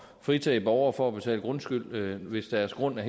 fritage borgere for at betale grundskyld hvis deres grund er